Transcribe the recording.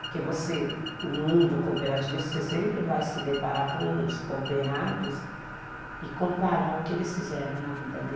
Porque você, o mundo cooperativista, você sempre vai se deparar com os cooperados e comparar o que eles fizeram na vida dele.